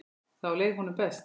Þá leið honum best.